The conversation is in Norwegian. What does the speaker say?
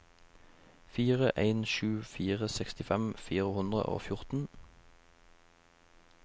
fire en sju fire sekstifem fire hundre og fjorten